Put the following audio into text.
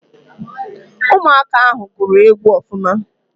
Ụmụaka ahụ gụrụ egwu ọfụma